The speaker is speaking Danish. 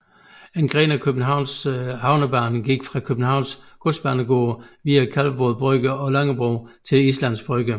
En gren af Københavns havnebane gik fra Københavns Godsbanegård via Kalvebod Brygge og Langebro til Islands Brygge